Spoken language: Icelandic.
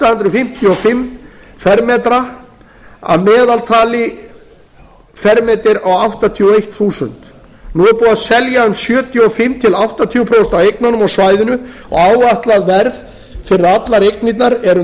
hundruð fimmtíu og fimm fermetra að meðaltali fermetra á áttatíu og eitt þúsund nú er búið að selja um sjötíu og fimm til áttatíu prósent af eignunum á svæðinu og áætlað verð fyrir allar eignirnar eru